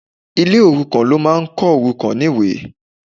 Ile òrukàn ló máa ń kọ́ òrukàn níwe